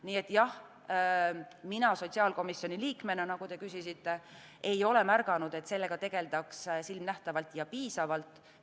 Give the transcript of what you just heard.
Nii et jah, mina sotsiaalkomisjoni liikmena, nagu te küsisite, ei ole märganud, et sellega tegeldaks silmanähtavalt ja piisavalt.